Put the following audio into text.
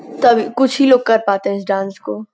तभी कुछ ही लोग कर पाते हैं इस डांस को।